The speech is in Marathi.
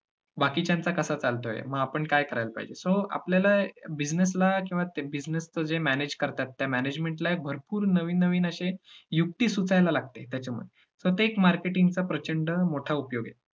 बाकीच्यांचा कसा चालतोय, मग आपण काय करायला पाहिजे so आपल्याला business ला किंवा business चे जे manage करतात त्या management ला एक भरपूर नवीन नवीन युक्ति सुचायला लागते. त्याच्यामध्ये तोच एक marketing चा प्रचंड मोठा उपयोग आहे.